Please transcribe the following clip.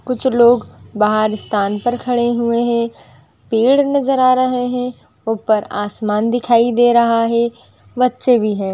कुछ लोग बाहर स्थान पर खड़े हुए हैं। पेड़ नज़र आ रहे हैं। ऊपर आसमान दिखाई दे रहा है । बच्चे भी हैं ।